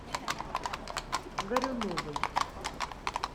горюновой